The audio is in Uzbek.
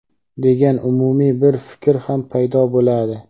degan umumiy bir fikr ham paydo bo‘ladi.